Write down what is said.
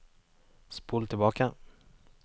spol tilbake